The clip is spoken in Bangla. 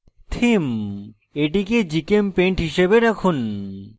themeএটিকে gchempaint হিসাবে রাখুন